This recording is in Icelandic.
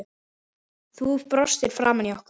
Þú brostir framan í okkur.